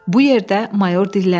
Bu yerdə mayor dilləndi.